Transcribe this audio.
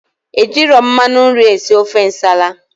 Ejirọ mmanụ nri esi ofe nsala